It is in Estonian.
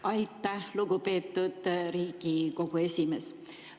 Aitäh, lugupeetud Riigikogu esimees!